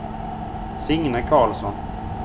Signe Karlsson